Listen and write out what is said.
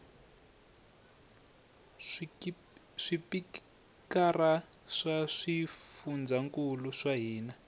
swipikara swa swifundzankulu swa hina